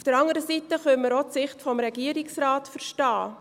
Auf der anderen Seite können wir auch die Sicht des Regierungsrates verstehen.